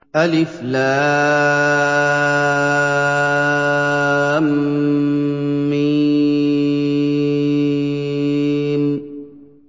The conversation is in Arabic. الم